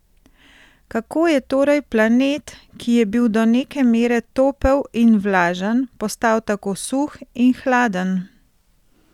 Kako je torej planet, ki je bil do neke mere topel in vlažen, postal tako suh in hladen?